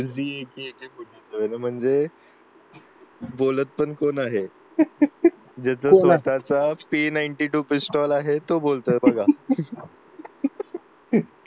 येतात का म्हणजे बोलत पण कोण आहे ज्याच्या हाताच three ninety two पिस्तूल आहे तो बोलतोय तर बघा.